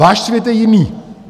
Váš svět je jiný.